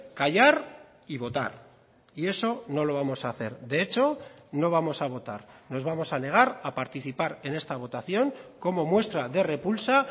callar y votar y eso no lo vamos a hacer de hecho no vamos a votar nos vamos a negar a participar en esta votación como muestra de repulsa